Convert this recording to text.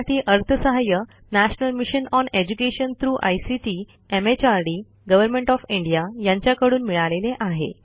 यासाठी अर्थसहाय्य national mission on education through ICT MHRD government of India यांच्याकडून मिळालेले आहे